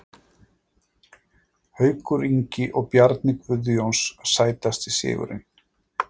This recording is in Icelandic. Haukur Ingi og Bjarni Guðjóns Sætasti sigurinn?